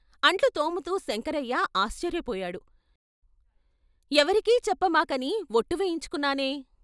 అంట్లు తోముతూ శంకరయ్య ఆశ్చర్యపోయాడు "ఎవరికీ చెప్పమాక" ని ఒట్టు వేయించుకొన్నానే.....